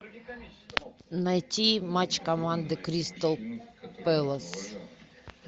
найти матч команды кристал пэлас